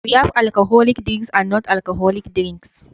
we have alcoholic drinks and non alcoholic drinks